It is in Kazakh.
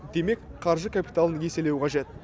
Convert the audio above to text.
демек қаржы капиталын еселеу қажет